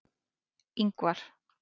Ingvar